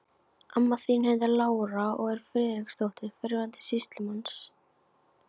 Amma þín heitir Lára og er Friðriksdóttir, fyrrverandi sýslumanns.